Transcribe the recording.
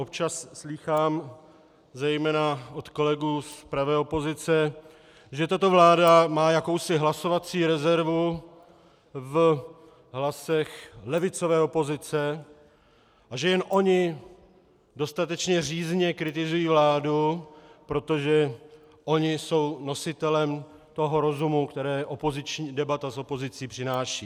Občas slýchám zejména od kolegů z pravé opozice, že tato vláda má jakousi hlasovací rezervu v hlasech levicové opozice a že jen oni dostatečně řízně kritizují vládu, protože oni jsou nositelem toho rozumu, který debata s opozicí přináší.